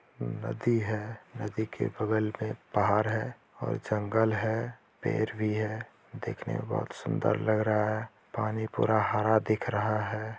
नदी है नदी के बगल में पहाड़ है और जंगल है पेड़ भी है देखने में बहुत ही सुंदर लग रहा है पानी पूरा हरा दिख रहा है।